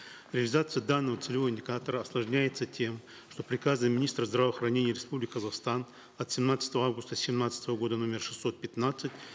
реализация данного целевого индикатора осложняется тем что в приказе министра здравоохранения республики казахстан от семнадцатого августа семнадцатого года номер шестьсот пятнадцать